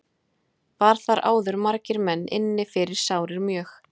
Var þar áður margir menn inni fyrir sárir mjög.